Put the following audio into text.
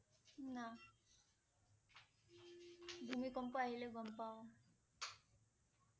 না ভূমিকম্প আহিলে গম পাও